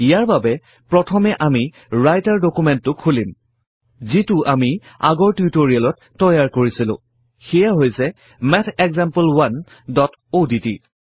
ইয়াৰ বাবে প্ৰথমে আমি ৰাইটাৰ ডুকুমেন্টটো খুলিম যিটো আমি আগৰ টিউটৰিয়েলত তৈয়াৰ কৰিছিলো সেইয়া হৈছে mathexample1অডট